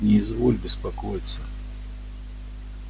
не изволь беспокоиться